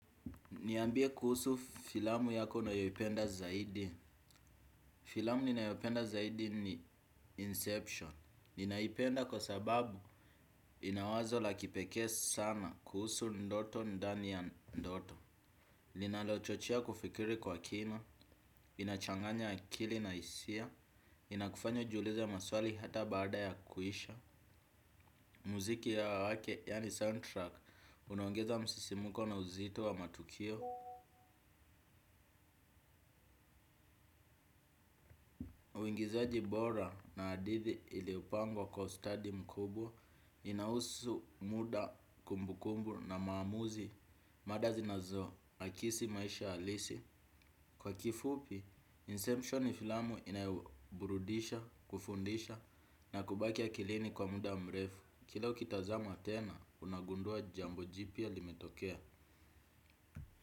Niambie kuhusu filamu yako unayoipenda zaidi. Filamu ninayopenda zaidi ni Inception. Ninaipenda kwa sababu inawazo la kipekee sana kuhusu ndoto ndani ya ndoto. Ninalochochea kufikiri kwa kina, inachanganya akili na hisia, inakufanya ujiulize maswali hata baada ya kuisha. Muziki ya wake, yani soundtrack, unaongeza msisimuko na uzito wa matukio. Uigizaji bora na hadithi ilipangwa kwa ustadi mkubwa inahusu muda kumbukumbu na maamuzi mada zinazo akisi maisha halisi. Kwa kifupi, inception ni filamu inayo burudisha kufundisha na kubaki akilini kwa muda mrefu. Kila ukitazama tena, unagundua jambo jipia limetokea.